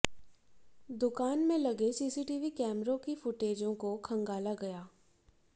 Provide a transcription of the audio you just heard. दुकान में लगे सीसीटीवी कैमरों की फुटेजों को खंगाला गया